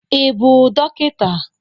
Ị bụ dọkịta?